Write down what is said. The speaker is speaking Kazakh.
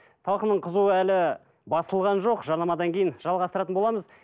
талқының қызуы әлі басылған жоқ жарнамадан кейін жалғастыратын боламыз